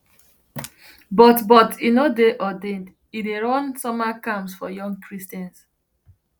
but but e no dey ordained e dey run summer camps for young christians